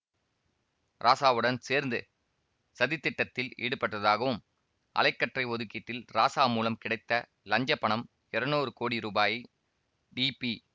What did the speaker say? ராசாவுடன் சேர்ந்து சதித்திட்டத்தில் ஈடுபட்டதாகவும் அலை கற்றை ஒதுக்கீட்டில் ராசா மூலம் கிடைத்த லஞ்சப்பணம் இருநூறு கோடி ரூபாயை டிபி